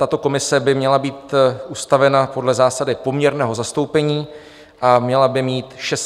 Tato komise by měla být ustavena podle zásady poměrného zastoupení a měla by mít 16 členů.